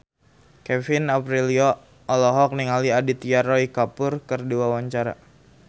Kevin Aprilio olohok ningali Aditya Roy Kapoor keur diwawancara